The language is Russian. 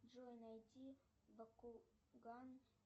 джой найти бакуган